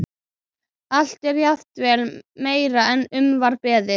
Allt er jafnvel meira en um var beðið.